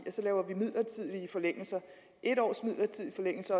vi så laver midlertidige forlængelser en års midlertidig forlængelse